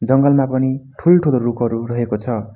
जङ्गल मा पनि ठूल ठूलो रुखहरू रहेको छ।